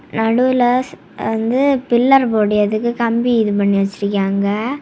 நடுவுல ஸ் வந்து பில்லர் போடறதுக்கு கம்பி இது பண்ணி வச்சிருக்காங்க.